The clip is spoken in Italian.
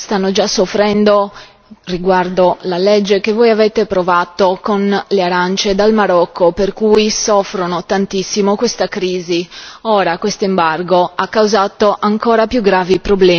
Stanno già soffrendo riguardo alla legge che voi avete approvato con le arance dal Marocco, per cui soffrono tantissimo questa crisi. Ora questo embargo ha causato problemi ancora più gravi.